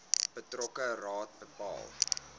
betrokke raad bepaal